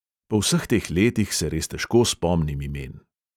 Po vseh teh letih se res težko spomnim imen.